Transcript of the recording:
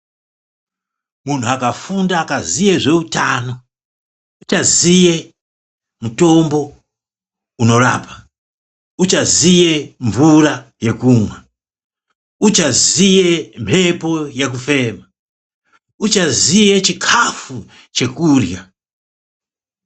Munthu akafunda akaziye zveutano uchaziye mutombo unorapa, uchaziye mvura yekumwa, uchaziye mphepo yekofema, uchaziye chikafu chekurya